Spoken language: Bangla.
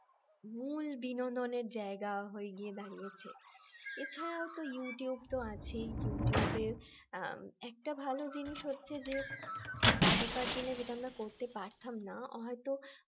মূল বিনোদনের জায়গা হয়ে গিয়ে দাঁড়িয়েছে এছাড়াও ইউটিউব আছেই ইউটিউবে একটা ভালো জিনিস হচ্ছে যে আগেকার দিনে যেটা আমরা করতে পারতাম না হয়তো